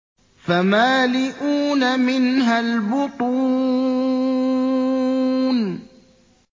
فَمَالِئُونَ مِنْهَا الْبُطُونَ